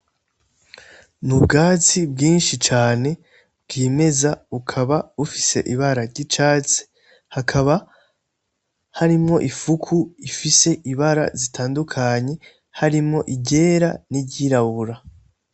Ni ubwatsi bwinshi cane bwimeza ukaba ufise ibara ry'icatse hakaba harimo ifuku ifise ibara zitandukanye harimo igera n'iryirabura.